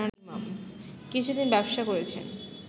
কিছুদিন ব্যবসা করেছেন